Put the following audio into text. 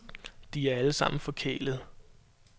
De er alle sammen forkælede.